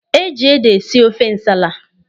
E ji ede esi ofe nsala.